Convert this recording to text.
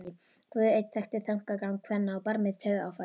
Guð einn þekkti þankagang kvenna á barmi taugaáfalls.